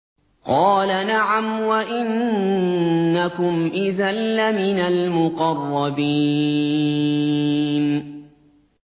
قَالَ نَعَمْ وَإِنَّكُمْ إِذًا لَّمِنَ الْمُقَرَّبِينَ